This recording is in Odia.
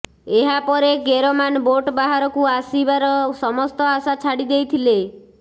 ଏହା ପରେ କେରମାନ ବୋଟ ବାହାରକୁ ଆସିବାର ସମସ୍ତ ଆଶା ଛାଡ଼ି ଦେଇଥିଲେ